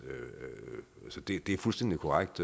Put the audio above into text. det er fuldstændig korrekt